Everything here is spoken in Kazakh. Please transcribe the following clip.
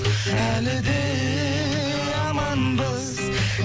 әлі де аманбыз